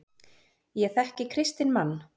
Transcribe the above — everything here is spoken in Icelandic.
Ég þekki kristinn mann.